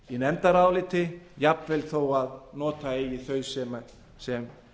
í nefndaráliti jafnvel þó að nota eigi þau sem